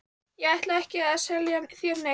Ég ætla ekki að selja þér neitt.